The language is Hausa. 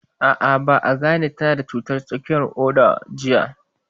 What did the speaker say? A'a, ba a gane ta na da cutar tsakuwar ƙoda jiya ba